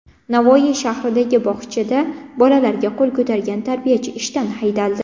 Navoiy shahridagi bog‘chada bolalarga qo‘l ko‘targan tarbiyachi ishdan haydaldi.